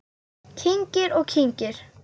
Kyngir og kyngir.